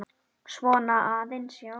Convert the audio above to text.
Svona aðeins, já.